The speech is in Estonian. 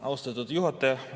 Austatud juhataja!